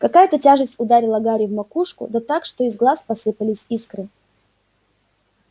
какая-то тяжесть ударила гарри в макушку да так что из глаз посыпались искры